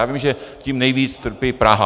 Já vím, že tím nejvíc trpí Praha.